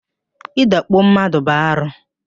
Ị dakpo mmadụ bụ arụ